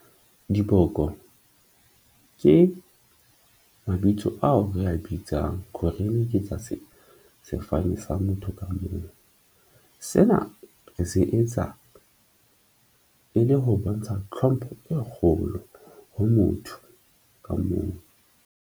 Diboko ke mabitso ao re a bitsang ke tsa se sefane sa motho ka mong. Sena re se etsa e le ho bontsha tlhompho e kgolo ho motho ka mong.